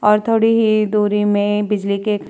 और थोडी ही दूरी में बिजली के --